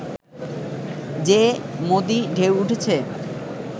যে 'মোদী-ঢেউ' উঠেছে